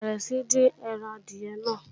Bẹ̀rẹ̀ sí ń dín ẹran adìyẹ náà!